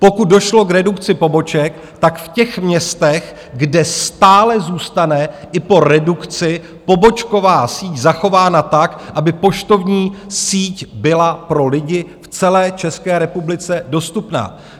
Pokud došlo k redukci poboček, tak v těch městech, kde stále zůstane i po redukci pobočková síť zachována tak, aby poštovní síť byla pro lidi v celé České republice dostupná.